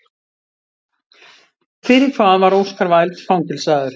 Fyrir hvað var Oscar Wilde fangelsaður?